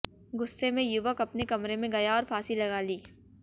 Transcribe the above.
गुस्से में युवक अपने कमरे में गया और फांसी लगा ली